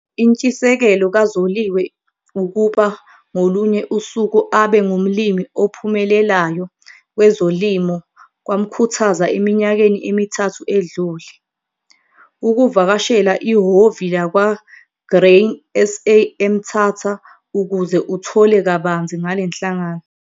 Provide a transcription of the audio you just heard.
Intshisekelo kaZoliwe ukuba ngolunye usuku abe ngumlimi ophumelelayo kwezolimo kwamkhuthaza eminyakeni emithathu edlule, ukuvakashela ihhovi lakwa-Grain SA eMthatha ukuze uthole kabanzi ngale nhlangano.